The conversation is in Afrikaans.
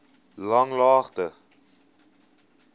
langlaagte